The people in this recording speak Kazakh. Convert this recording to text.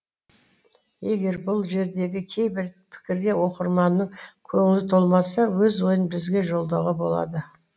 егер бұл жердегі кейбір пікірге оқырманның көңілі толмаса өз ойын бізге жолдауға болады